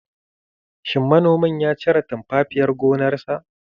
Shin manomin ya cire tumfafiyar gonarsa?